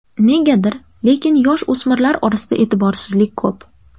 Negadir, lekin yosh o‘smirlar orasida e’tiborsizlik ko‘p.